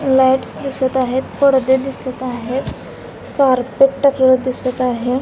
Lights दिसत आहेत पडदे दिसत आहेत कारपेट दिसत आहे.